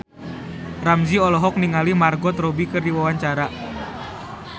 Ramzy olohok ningali Margot Robbie keur diwawancara